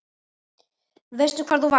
Veistu hvar þú varst?